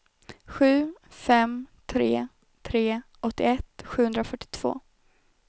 sju fem tre tre åttioett sjuhundrafyrtiotvå